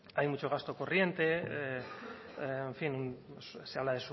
hay mucho gasto corriente en fin se habla